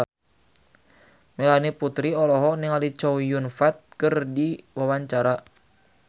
Melanie Putri olohok ningali Chow Yun Fat keur diwawancara